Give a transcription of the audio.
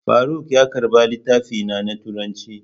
Faruk ya karba littafina na turanci.